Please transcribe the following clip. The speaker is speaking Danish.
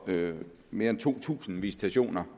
med mere end to tusind visitationer